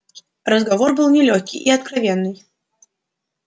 разговор был нелёгкий и откровенный